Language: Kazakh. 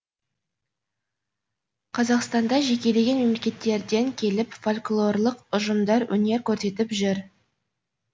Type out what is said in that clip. қазақстанда жекеленген мемлекеттерден келіп фольклорлық ұжымдар өнер көрсетіп жүр